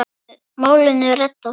Málinu reddað.